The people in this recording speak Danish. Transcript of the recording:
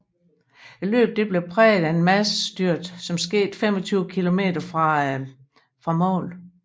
Løbet blev præget af et massestyrt som skete 25 km fra mål